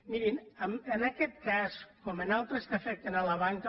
mirin en aquest cas com en altres que afecten la banca